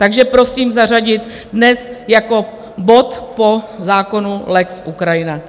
Takže prosím zařadit dnes jako bod po zákonu lex Ukrajina.